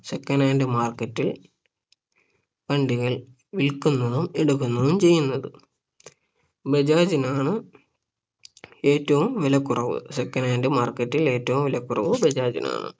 second hand market ൽ വണ്ടികൾ വിൽക്കുന്നതും എടുക്കുന്നതും ചെയ്യുന്നത് ബജാജിനാണ് ഏറ്റവും വിലക്കുറവ് second hand market ൽ ഏറ്റവും വിലക്കുറവ് ബജാജിനാണ്